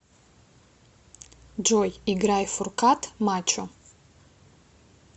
джой играй фуркат мачо